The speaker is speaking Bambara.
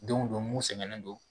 Denw don mun sɛgɛnnen don